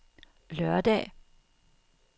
lørdag